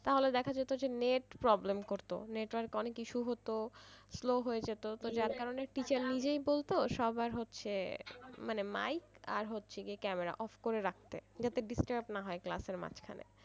তাহলে দেখা যেত যে net problem করতো network অনেক issue হতো slow হয়ে যেত তো তার কারনে teacher নিজেই বলতো সবার হচ্ছে যে mic আর হচ্ছে গিয়ে camera off করে রাখতে যাতে disturb না হয় class এর মাঝখানে।